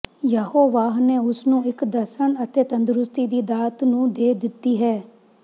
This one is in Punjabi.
ਯਹੋਵਾਹ ਨੇ ਉਸ ਨੂੰ ਇਕ ਦਰਸ਼ਣ ਅਤੇ ਤੰਦਰੁਸਤੀ ਦੀ ਦਾਤ ਨੂੰ ਦੇ ਦਿੱਤੀ ਹੈ